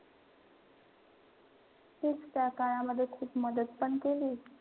खूप त्या काळामध्ये मदत पण केली.